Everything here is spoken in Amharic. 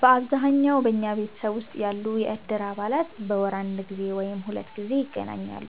በአብዛኛው በኛ ማህበረሰብ ውስጥ ያሉ የእድር አባላት በወር አንድ ጊዜ ወይም ሁለት ጊዜ ይገናኛሉ።